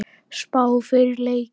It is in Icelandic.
Spá fyrir leikinn?